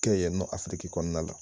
Ke yen nɔ afiriki kɔnɔna la.